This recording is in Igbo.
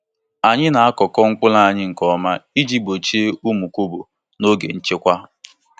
Anyị na-akọkọọ mkpụrụ anyị nke ọma iji gbochie ụmụ kọbọ n’oge nchekwa.